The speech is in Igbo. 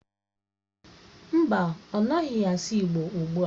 Mba, ọ naghị asụ igbo ugbua.